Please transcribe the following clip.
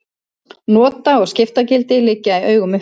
Nota- og skiptagildi liggja í augum uppi.